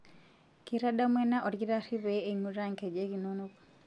Keitadamu ena olkitari pee einguraa nkejek inono.'